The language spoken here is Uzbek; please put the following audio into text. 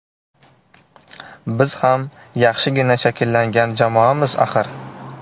Biz ham yaxshigina shakllangan jamoamiz, axir.